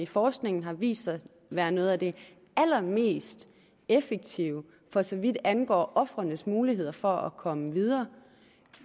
forskning har vist sig at være noget af det allermest effektive for så vidt angår ofrenes muligheder for at komme videre